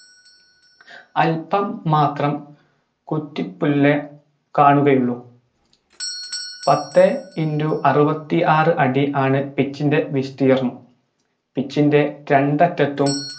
അൽപ്പം മാത്രം കുറ്റിപുല്ല് കാണുകയുള്ളു പത്തേ into അറുപത്തിയാറ് അടിയാണ് pitch ൻറെ വിസ്തീർണം pitch ൻറെ രണ്ടറ്റത്തും